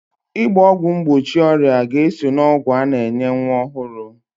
Ịgba ọgwụ mgbochi ọrịa ga-eso n'ọgwụ a na-enye nwa ọhụrụ